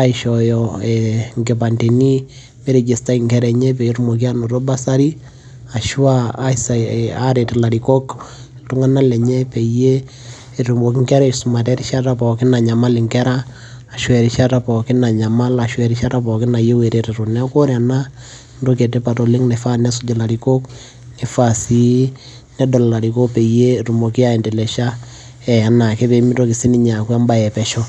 aishooyo inkipandeni pee iregistai nkera enye peyie etumoki aanoto bursary ashu aaret ilarikok iltung'anak lenye peyie etumoki nkera aisumata erishata pookin nanyamal nkera ashu erishata pookin nayieu ereteto . Neeku ore ena entoki etipat oleng' nanare nesuj ilarikok nifaa sii nedol ilarikok peyiee etumoki aiendelesha enaake pee mitoki aaku embaye epesho.